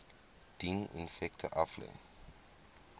dien effekte aflê